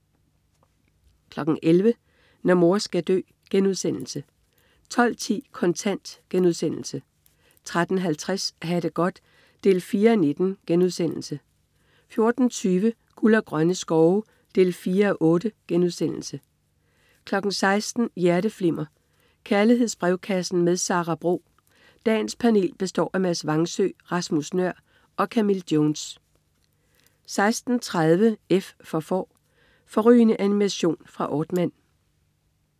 11.00 Når mor skal dø* 12.10 Kontant* 13.50 Ha' det godt 4:19* 14.20 Guld og grønne skove 4:8* 16.00 Hjerteflimmer. Kærlighedsbrevkassen med Sara Bro. Dagens panel består af Mads Vangsø, Rasmus Nøhr og Camille Jones 16.30 F for Får. Fårrygende animation fra Aardman